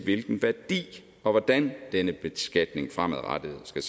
hvilken værdi og hvordan denne beskatning fremadrettet skal